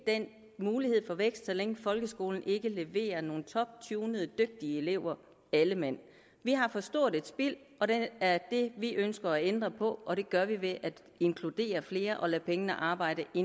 den mulighed for vækst så længe folkeskolen ikke leverer nogle toptunede dygtige elever alle mand vi har for stort et spild og det er det vi ønsker at ændre på og det gør vi ved at inkludere flere og lade pengene arbejde i